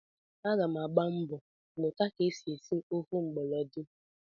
Aga m agba mbọ mụta ka e si esi ofe mgbọlọdị